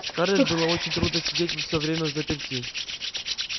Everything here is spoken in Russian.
скарлетт было очень трудно сидеть всё время взаперти